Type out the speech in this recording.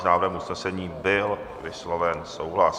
S návrhem usnesení byl vysloven souhlas.